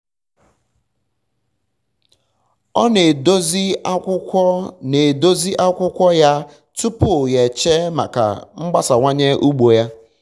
ọ na-edozi akwụkwọ um na-edozi akwụkwọ um ya um tupu ya eche maka mgbasawanye ugbo ya